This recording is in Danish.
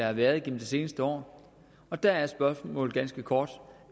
har været igennem de seneste år og der er spørgsmålet ganske kort